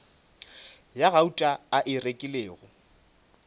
ya gauta a e rekilego